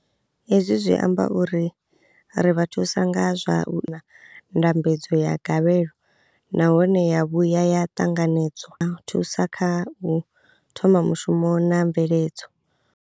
Hezwi zwi amba uri ri vha thusa nga zwa ndambedzo ya gavhelo nahone ya vhuya ya ṱanganedzwa, thusa kha u thoma mushumo na mveledzo.